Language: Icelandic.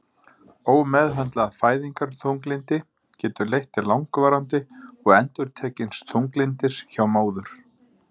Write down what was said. Ómeðhöndlað fæðingarþunglyndi getur leitt til langvarandi og endurtekins þunglyndis hjá móður.